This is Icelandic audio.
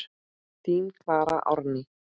Þín Klara Árný.